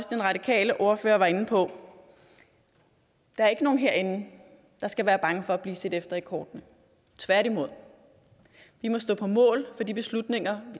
den radikale ordfører også var inde på der er ikke nogen herinde der skal være bange for at blive set efter i kortene tværtimod vi må stå på mål for de beslutninger